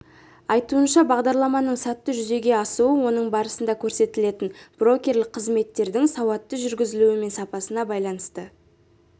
айтуынша бағдарламаның сәтті жүзеге асуы оның барысында көрсетілетін брокерлік қызметтердің сауатты жүргізілуі мен сапасына байланысты